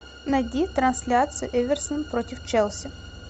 найди трансляцию эверсон против челси